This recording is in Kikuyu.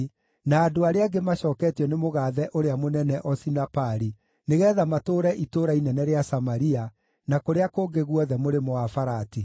na andũ arĩa angĩ maacooketio nĩ mũgaathe ũrĩa mũnene Osinapari nĩgeetha matũũre itũũra inene rĩa Samaria, na kũrĩa kũngĩ guothe Mũrĩmo-wa-Farati.